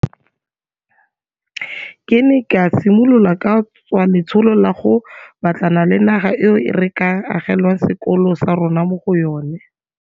Ke ne ka simolola ka tswa letsholo la go batlana le naga eo re ka agelwang sekolo sa rona mo go yona.